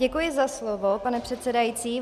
Děkuji za slovo, pane předsedající.